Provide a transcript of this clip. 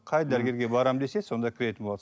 қай дәрігерге барамын десе сонда кіретін болады